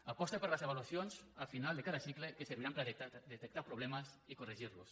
aposta per les avaluacions a final de cada cicle que serviran per a detectar problemes i corregir los